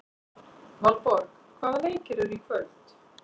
Valborg, hvaða leikir eru í kvöld?